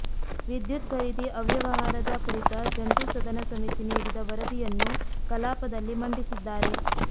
ವಿದ್ಯುತ್ ಖರೀದಿ ಅವ್ಯವಹಾರದ ಕುರಿತ ಜಂಟಿ ಸದನ ಸಮಿತಿ ನೀಡಿದ ವರದಿಯನ್ನು ಕಲಾಪದಲ್ಲಿ ಮಂಡಿಸಿದ್ದಾರೆ